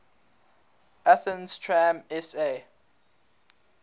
athens tram sa